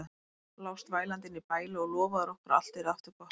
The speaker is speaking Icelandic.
Lást vælandi inni í bæli og lofaðir okkur að allt yrði aftur gott.